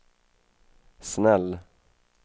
snäll